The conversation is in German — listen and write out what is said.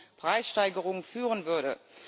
zu Preissteigerungen führen würde.